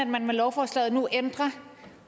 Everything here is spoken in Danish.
man med lovforslaget nu ændrer